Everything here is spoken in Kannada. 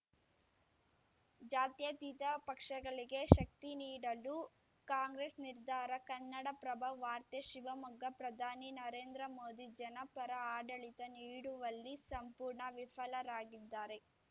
ಜಾತ್ಯತೀತ ಪಕ್ಷಗಳಿಗೆ ಶಕ್ತಿ ನೀಡಲು ಕಾಂಗ್ರೆಸ್‌ ನಿರ್ಧಾರ ಕನ್ನಡಪ್ರಭ ವಾರ್ತೆ ಶಿವಮೊಗ್ಗ ಪ್ರಧಾನಿ ನರೇಂದ್ರ ಮೋದಿ ಜನಪರ ಆಡಳಿತ ನೀಡುವಲ್ಲಿ ಸಂಪೂರ್ಣ ವಿಫಲರಾಗಿದ್ದಾರೆ